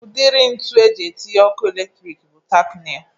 Udiri ntu eji etinye ọkụ eletrik bụ tak neil